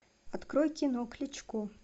открой кино кличко